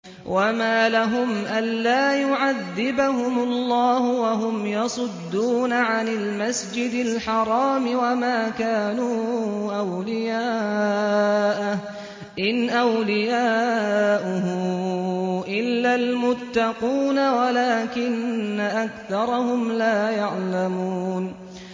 وَمَا لَهُمْ أَلَّا يُعَذِّبَهُمُ اللَّهُ وَهُمْ يَصُدُّونَ عَنِ الْمَسْجِدِ الْحَرَامِ وَمَا كَانُوا أَوْلِيَاءَهُ ۚ إِنْ أَوْلِيَاؤُهُ إِلَّا الْمُتَّقُونَ وَلَٰكِنَّ أَكْثَرَهُمْ لَا يَعْلَمُونَ